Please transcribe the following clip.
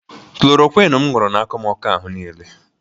Klorokwịn m ṅụrụ na-akọ m ọkọ n'ahụ niile.